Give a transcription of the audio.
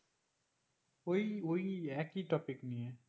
ওই ওই একই topic নিয়ে